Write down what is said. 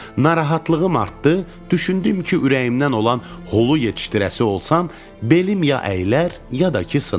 Narahatlığım artdı, düşündüm ki, ürəyimdən olan hulu yetişdirəsi olsam, belim ya əyilər, ya da ki sınar.